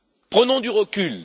Prenons du recul.